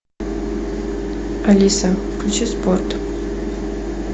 алиса включи спорт